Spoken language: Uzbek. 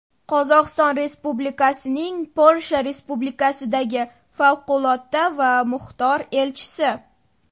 Qozog‘iston Respublikasining Polsha Respublikasidagi Favqulodda va Muxtor Elchisi.